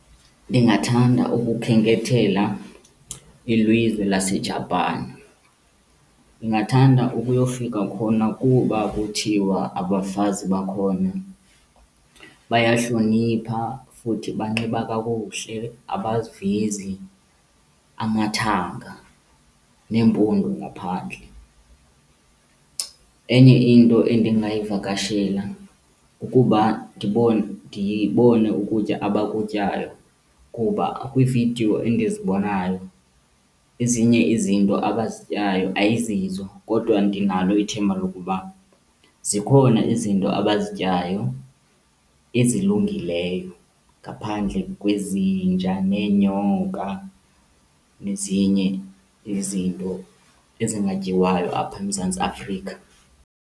Ndingathanda ukukhenkethela ilizwe laseJapan. Ndingathanda ukuyofika khona kuba kuthiwa abafazi bakhona bayahlonipha futhi banxiba kakuhle, abazivezi amathanga neempundu ngaphandle. Enye into endingayivakashela kukuba ndibone ukutya abakutyayo, kuba kwiivideo endizibonayo ezinye izinto abazityayo ayizizo. Kodwa ndinalo ithemba lokuba zikhona izinto abazityayo ezilungileyo ngaphandle kwezinja neenyoka nezinye izinto ezingatyiwayo apha eMzantsi Afrika.